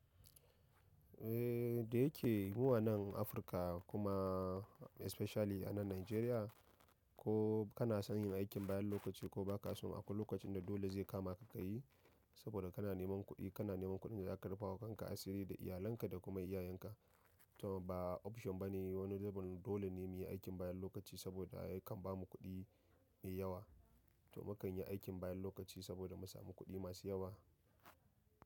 Eh, da yake mu a nan Afirka kuma especially a nan Najeriya, ko kana son yin aikin bayan lokaci ko ba ka so, akwai lokacin da dole zai kama ka ka yi. Saboda kana neman kuɗi, kana neman kuɗin da za ka rufawa kanka asiri da iyalanka da kuma iyayenka. Toh ba option bane wani zubin dole ne mu yi aikin bayan lokaci saboda kan bamu kuɗi mai yawa. Toh mu kan yi aikin bayan lokaci saboda mu samu kuɗi masu yawa.